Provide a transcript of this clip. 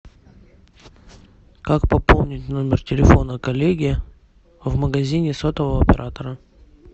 как пополнить номер телефона коллеги в магазине сотового оператора